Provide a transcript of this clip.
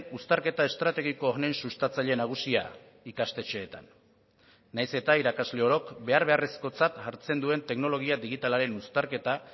uztarketa estrategiko honen sustatzaile nagusia ikastetxeetan nahiz eta irakasle orok behar beharrezkotzat hartzen duen teknologia digitalaren uztarketa